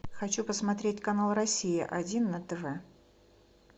хочу посмотреть канал россия один на тв